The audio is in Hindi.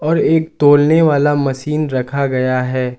और एक तौलने वाला मशीन रखा गया है।